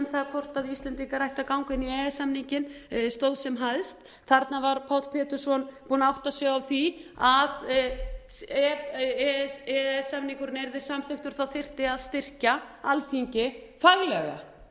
það hvort íslendingar ættu að ganga inn í e e s samninginn stóð sem hæst þarna var páll pétursson búinn að átta sig á því að ef e e s samningurinn yrði samþykktur þyrfti að styrkja alþingi faglega faglega